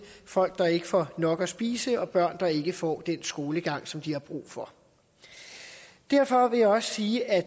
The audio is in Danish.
folk der ikke får nok at spise og børn der ikke får den skolegang som de har brug for derfor vil jeg også sige at